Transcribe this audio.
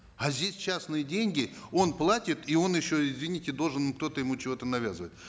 а здесь частные деньги он платит и он еще извините должен кто то ему чего то навязывает